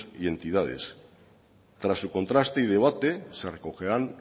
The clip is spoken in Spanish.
y entidades tras su contraste y debate se recogerán